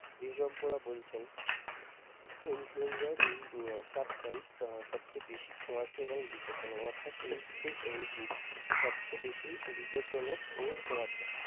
বিশেষজ্ঞরা বলছেন influenza এর উম type সবচেয়ে ছোয়াঁচে এবং বিপদ জনক অর্থাৎ এই H three N two সবচেয়ে বেশি বিপজ্জনক ও ছোঁয়াচে ।